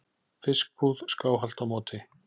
fiskbúð skáhallt á móti.